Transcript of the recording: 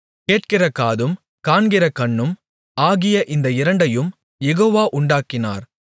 கேட்கிற காதும் காண்கிற கண்ணும் ஆகிய இந்த இரண்டையும் யெகோவா உண்டாக்கினார்